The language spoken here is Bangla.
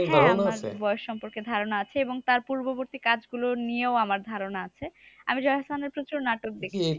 হ্যাঁ আমার বয়স সম্পর্কে ধারণা আছে। এবং তার পূর্ববর্তী কাজগুলো নিয়েও আমার ধারণা আছে। আমি জয়া আহসানের প্রচুর নাটক দেখেছি।